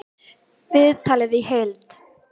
Viðtalið í heild